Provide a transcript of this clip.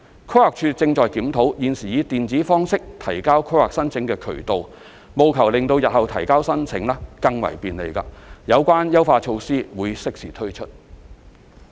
規劃署亦正檢討現時以電子方式提交規劃申請的渠道，務求令日後提交申請更為便利，有關優化措施將適時推出。